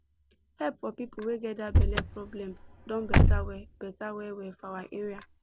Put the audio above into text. help for people wey get that belle problem don better well better well well for our area